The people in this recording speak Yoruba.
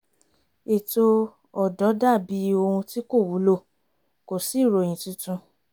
ètò ọ̀dọ́ dà bí ohun tí kò wúlò kò sí ìròyìn tuntun